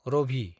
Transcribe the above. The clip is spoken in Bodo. रभि